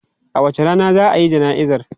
A wace rana za a yi jana'izar?